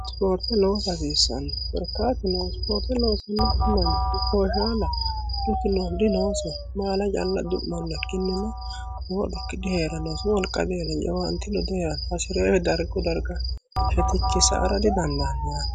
sipoorte loosa hasiissanno korkaatuno isipoorte loosannokki manichi booshaalaho dhukuno dinoosiho maala calla du'manno ikinnina lowo dhuki dihee'rannoosu wolqadeelen jawaanteno diheeranosi hasireeri dargu darga shetichi saaysara didandaanno yaate